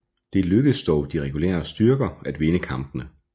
Det lykkedes de regulære styrker at vinde kampene